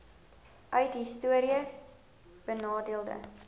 uit histories benadeelde